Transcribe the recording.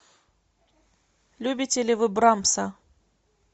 любите ли вы брамса